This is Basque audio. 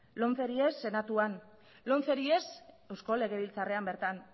lomceri ez senatuan lomceri ez eusko legebiltzarrean bertan